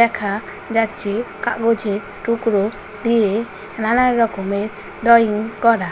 দেখা যাচ্ছে কাগজে টুকরো দিয়ে নানা রকমের ড্রয়িং করা--